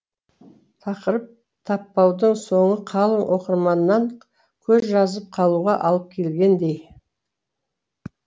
тақырып таппаудың соңы қалың оқырманнан көзжазып қалуға алып келгендей